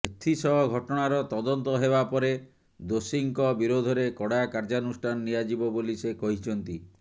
ଏଥିସହ ଘଟଣାର ତଦନ୍ତ ହେବା ପରେ ଦୋଷୀଙ୍କ ବିରୋଧରେ କଡା କାର୍ଯ୍ୟାନୁଷ୍ଠାନ ନିଆଯିବ ବୋଲି ସେ କହିଛନ୍ତି